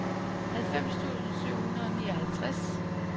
halvfems tusind syv hundrede og nioghalvtreds